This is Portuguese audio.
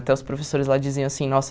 Até os professores lá diziam, assim, nossa...